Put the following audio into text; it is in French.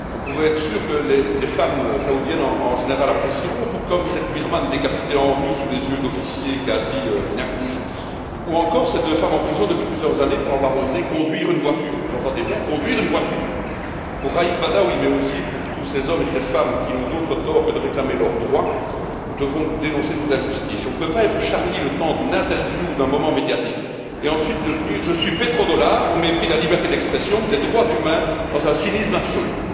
On peut être sûr que les femmes saoudiennes, en général, apprécieront, tout comme cette Birmane décapitée en pleine rue sous les yeux d'officiers restés presque passifs, ou encore ces deux femmes en prison depuis plusieurs années pour avoir osé conduire une voiture. Vous entendez bien, conduire une voiture! Pour Raïf Badaoui, mais aussi pour tous ces hommes et ces femmes qui n'ont d'autre tort que de réclamer leurs droits, nous nous devons de dénoncer ces injustices. On ne peut pas être Charlie le temps d'une interview ou d'un moment médiatique, et ensuite opter pour je suis pétrodollar, au mépris de la liberté d'expression ou des droits humains, dans un cynisme absolu.